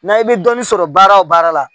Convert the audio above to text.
N'a i bɛ dɔɔnin sɔrɔ baara o baara la